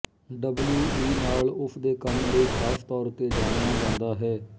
W E ਨਾਲ ਉਸ ਦੇ ਕੰਮ ਲਈ ਖਾਸ ਤੌਰ ਤੇ ਜਾਣਿਆ ਜਾਂਦਾ ਹੈ